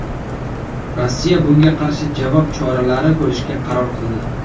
Rossiya bunga qarshi javob choralari ko‘rishga qaror qildi.